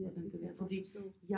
Ja det kan jeg godt forstå